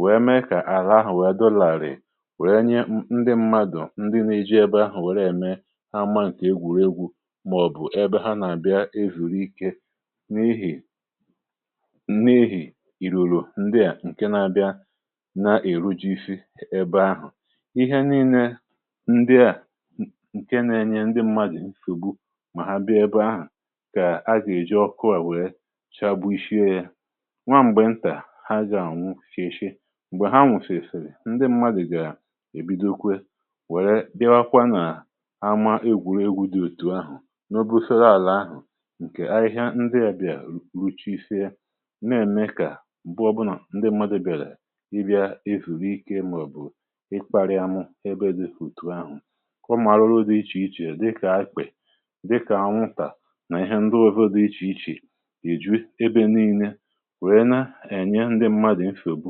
wee mee kà àlà ahụ̀ wee dọlàrị, um màọ̀bụ̀ ebe ha nà-àbịa èzùri ike. N’ihì n’ihì ìrùrù ndị à ǹkè na-abịa na-èrojifi ebe ahụ̀, ihe nii̇nė ndị à ǹkè na-enye ndị m̀madụ̀ nsògbu, mà ha bịa ebe ahụ̀, kà ha gà-èji ọkụ à wèe chàgbu ishiė yȧ nwaà. M̀gbè ntà, ha gà-ànwu shìèshìe; m̀gbè ha nwụ̀fèsìrì, ndị m̀madụ̀ gà-èbido kwe ama egwùregwu̇ dị òtù ahụ̀. N’ọbụ sòro àlà ahụ̀ ǹkè ahịhịa ndị àbịà ruchisie, nà-ème kà m̀gbè ọbụnà ndị mmadụ̀ bèrè ịbịà avùike, màọ̀bụ̀ ikparịamụ, ebe dị òtù ahụ̀, ọmà arụrụ dị iche iche dịkà akpị̀, dịkà aṅụntà, nà ihe ndị ọ̀vọdụ dị iche iche, ìjù ebe nii̇lė, wèe na-ènye ndị mmadụ̀ m fògbù,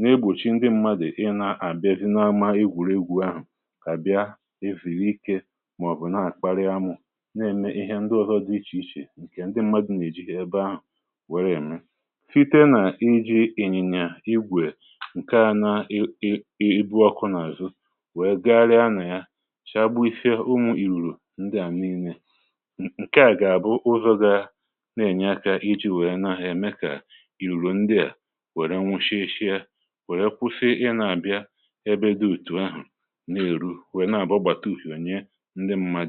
nà-egbòchi ndị mmadụ̀ ịnà-àbịazie n’ama egwùregwu̇ ahụ̀, kà bịa na-ème ihe ndị ọzọ dị iche iche ndị mmadụ̀ na-ejìhi ebe ahụ̀ wère ème. Site nà iji̇ ịnyị̀nyà igwè ǹkè à na-ebu ọkụ n’àzụ, wèe gagharịa nà ya, chàgbu ise ụmụ̀ ìrùrù ndị à na-ine, ǹkè à gà-àbụ ụzọ̇ gȧ na-ènye akȧ iji̇ wèe nȧhụ̀, um eme kà ìrùrù ndị à wère nwushie ishi̇ yȧ, wère kwụsị ịnà-àbịa ebe dị ùtù ahụ̀ nà-èrù. ǹdewo.